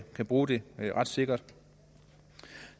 kan bruge det ret sikkert